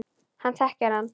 Hann þekkir hann.